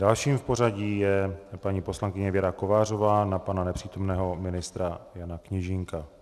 Dalším v pořadí je paní poslankyně Věra Kovářová na pana nepřítomného ministra Jana Kněžínka.